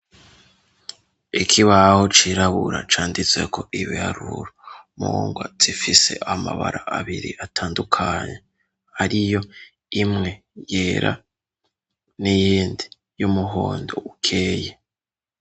ikibaho cirabura canditse ko ibiharuro mungwa zifise amabara abiri atandukanye ariyo imwe yera n'iyindi y'umuhondo ukeye.